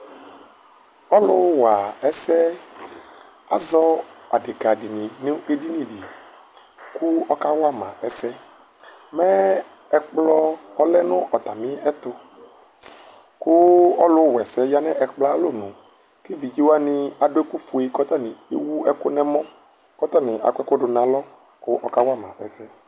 Ɔlʋwa ɛsɛ azɔ adekadini nʋ ɛdinidi kʋ ɔkawama ɛsɛ Mɛ ɛkplɔ ɔlɛnʋ ɔtami ɛtʋ kʋ ɔlʋwaɛsɛ yanʋ atami alɔnʋ kʋ evidzewani adʋ ɛkʋfue kʋ otani ewʋ ɛkʋ nʋ ɛmɔ, kʋ ɔtani akɔ ɛkʋ dʋnʋ alɔ kʋ ɔkawama ɛsɛ